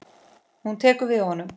Hún tekur við honum.